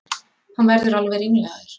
Hann verður alveg ringlaður.